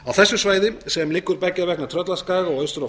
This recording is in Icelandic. á þessu svæði sem liggur beggja vegna tröllaskaga og austur á